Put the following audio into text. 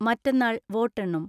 മറ്റന്നാൾ വോട്ടെണ്ണും.